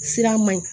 Sira man ɲi